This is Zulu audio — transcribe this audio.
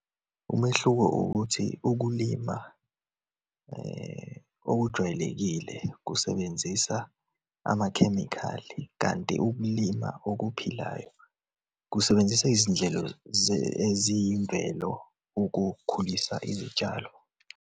Umehluko ukuthi ukulima okujwayelekile kusebenzisa amakhemikhali, kanti ukulima okuphilayo kusebenzisa izindlelo eziyimvelo ukukhulisa izitshalo.